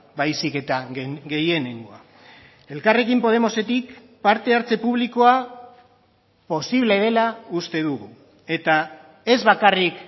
baizik eta gehienengoa elkarrekin podemosetik parte hartze publikoa posible dela uste dugu eta ez bakarrik